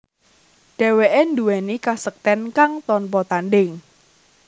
Dheweke nduweni kasekten kang tanpa tandhing